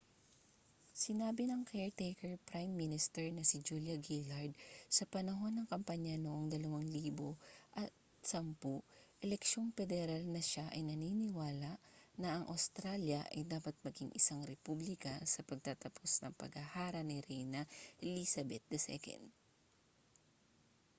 sinabi ng caretaker prime minister na si julia gillard sa panahon ng kampanya noong 2010 eleksyong pederal na siya ay naniniwala na ang australya ay dapat maging isang republika sa pagtatapos ng paghahara ni reyna elizabeth ii